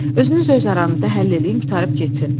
Özünüz öz aranızda həll eləyin qurtarıb getsin.